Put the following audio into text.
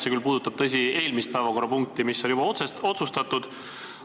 See küll puudutas, tõsi, eelmist päevakorrapunkti, mis on juba otsustatud.